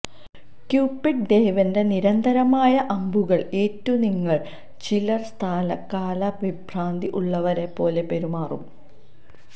Cupid ദേവന്റെ നിരന്തരമായ അമ്പുകൾ ഏറ്റു നിങ്ങളിൽ ചിലർ സ്ഥലകാല വിഭ്രാന്തി ഉള്ളവരെ പോലെ പെരുമാറും